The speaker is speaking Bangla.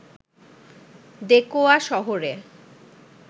দেকোয়া শহরে